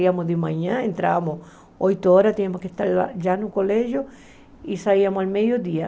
Iríamos de manhã, entrávamos oito horas, tínhamos que estar já no colégio e saíamos ao meio-dia.